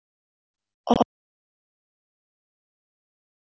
Oddrún, lækkaðu í græjunum.